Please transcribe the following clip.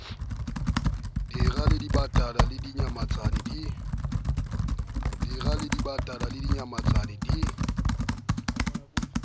dira dibatana le dinyamatsane di